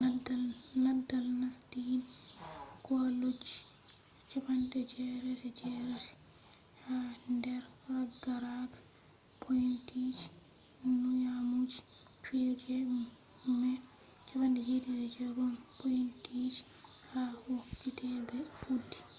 nadal nastini kwalloji 88% ha nder ragaraga pointiji nyamugo fijirde mai 76 pointiji ha wakkati be fuddi